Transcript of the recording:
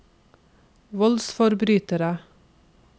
voldsforbrytere